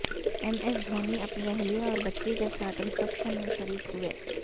M S Dhoni اپنی اہلیہ اور بچی کے ساتھ ریسپشن میں شریک ہوئے